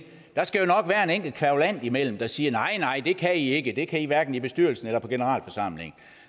der skal jo nok være en enkelt kværulant imellem der siger nej nej det kan i ikke det kan i hverken i bestyrelsen eller på generalforsamlingen